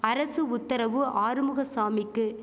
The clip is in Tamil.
அரசு உத்தரவு ஆறுமுக சாமிக்கு